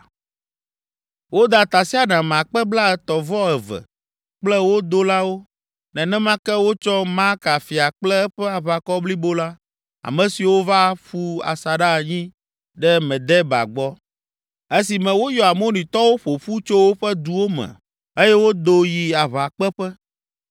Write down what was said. Woda tasiaɖam akpe blaetɔ̃-vɔ-eve (32,000) kple wo dolawo. Nenema ke wotsɔ Maaka fia kple eƒe aʋakɔ blibo la, ame siwo va ƒu asaɖa anyi ɖe Medeba gbɔ, esime woyɔ Amonitɔwo ƒo ƒu tso woƒe duwo me eye wodo yi aʋakpeƒe.